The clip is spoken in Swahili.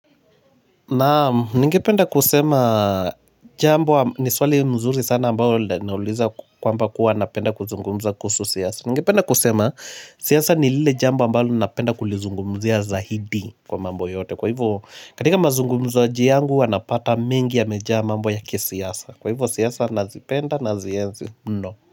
Naam nigependa kusema jambo ni swali mzuri sana ambayo nauliza kwamba kuwa napenda kuzungumza kuhusu siyasa Nigependa kusema siyasa ni lile jambo ambayo napenda kulizungumzia zaidi kwa mambo yote Kwa hivyo katika mazungumzaji yangu wanapata mingi yamejaa mambo ya kisiyasa Kwa hivyo siyasa nazipenda nazienzi mno.